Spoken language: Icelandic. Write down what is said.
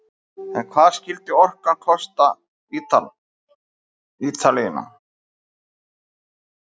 En hvað skyldi orkan kosta Ítalina?